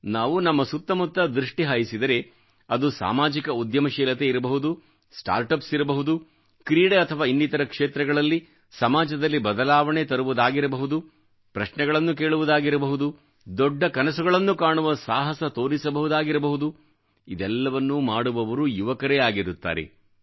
ನಾವು ನಮ್ಮ ಸುತ್ತಮುತ್ತ ದೃಷ್ಟಿಹಾಯಿಸಿದರೆ ಅದು ಸಾಮಾಜಿಕ ಉದ್ಯಮಶೀಲತೆ ಇರಬಹುದು ಸ್ಟಾರ್ಟ್ ಯುಪಿಎಸ್ ಇರಬಹುದು ಕ್ರೀಡೆ ಅಥವಾ ಇನ್ನಿತರ ಕ್ಷೇತ್ರಗಳಲ್ಲಿ ಸಮಾಜದಲ್ಲಿ ಬದಲಾವಣೆ ತರುವುದಾಗಿರಬಹುದು ಪ್ರಶ್ನೆಗಳನ್ನು ಕೇಳುವುದಾಗಿರಬಹುದು ದೊಡ್ಡ ಕನಸುಗಳನ್ನು ಕಾಣುವ ಸಾಹಸ ತೋರಿಸಬಹುದಾಗಿರಬಹುದು ಇದೆಲ್ಲವನ್ನು ಮಾಡುವವರು ಯುವಕರೇ ಆಗಿರುತ್ತಾರೆ